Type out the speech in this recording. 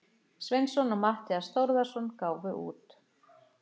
Sveinsson og Matthías Þórðarson gáfu út.